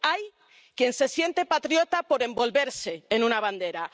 Hay quien se siente patriota por envolverse en una bandera.